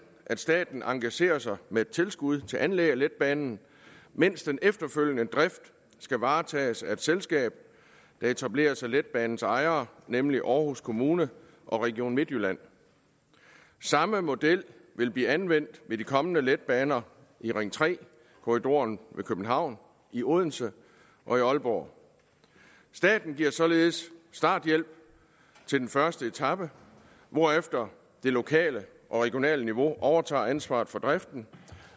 at staten engagerer sig med et tilskud til anlæg af letbanen mens den efterfølgende drift skal varetages af et selskab der etableres af letbanens ejere nemlig aarhus kommune og region midtjylland samme model vil blive anvendt ved de kommende letbaner i ring tre korridoren ved københavn i odense og i aalborg staten giver således starthjælp til den første etape hvorefter det lokale og regionale niveau overtager ansvaret for driften